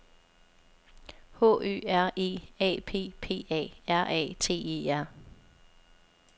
H Ø R E A P P A R A T E R